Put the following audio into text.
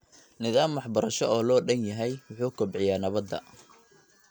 Nidaam waxbarasho oo loo dhan yahay wuxuu kobciyaa nabadda .